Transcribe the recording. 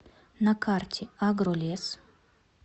на карте агролес